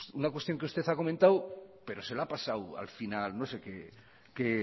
una cuestión que usted ha comentado pero se le ha pasado al final no sé qué